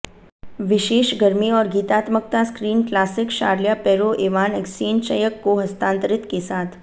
विशेष गर्मी और गीतात्मकता screen classic Charles Perrault Ivan एक्सेंचयक को हस्तांतरित के साथ